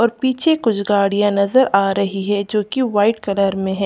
और पीछे कुछ गाड़ियां नजर आ रही है जो कि वाइट कलर में है।